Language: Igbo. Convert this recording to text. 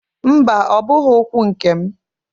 Mba! Ọ bụghị ụkwụ nke m.